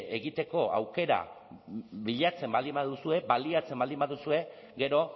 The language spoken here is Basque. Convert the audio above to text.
egiteko aukera bilatzen baldin baduzue baliatzen baldin baduzue gero